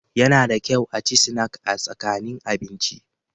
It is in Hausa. Yana da kyau a ci sinak a tsakanin abinci.